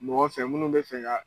Mɔgɔ fɛ munnu bi fɛ ka